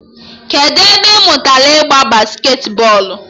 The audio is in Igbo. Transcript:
Kedụ ebe ị mụtara ịgba basketi bọọlụ?